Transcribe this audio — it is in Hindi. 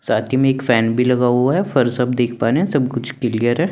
साथ में एक फैन भी लगा हुआ है फर्श देख पा रहे हैं सब कुछ क्लियर है।